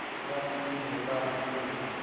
ra sayizi ya a kumbe